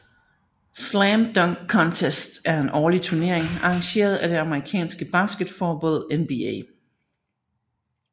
Slam Dunk Contest er en årlig turnering arrangeret af det amerikanske basketballforbund NBA